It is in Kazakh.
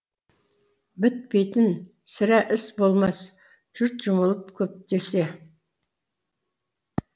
бітпейтін сірә іс болмас жұрт жұмылып көптесе